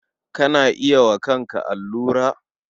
Kana iya yi wa kanka allura?